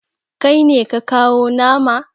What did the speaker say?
Kai ne ka kawo nama?